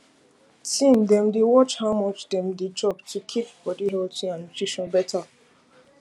teen dem dey watch how much dem dey chop to keep body healthy and nutrition better